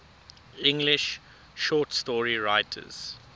english short story writers